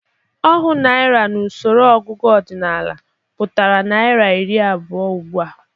Ohu naịra n'usoro ọgụgụ ọdịnaala pụtara naịra iri abụọ ugbụ a.